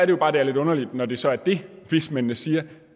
jo bare at det er lidt underligt når det så er det vismændene siger